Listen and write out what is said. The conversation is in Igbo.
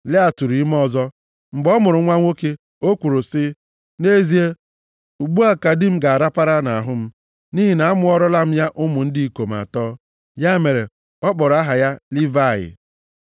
Lịa tụrụ ime ọzọ, mgbe ọ mụrụ nwa nwoke, o kwuru sị, “Nʼezie, ugbu a ka di m ga-arapara m nʼahụ, nʼihi na amụọrala m ya ụmụ ndị ikom atọ.” Ya mere ọ kpọrọ aha ya Livayị.